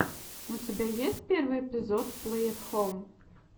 у тебя есть первый эпизод плэй эт хом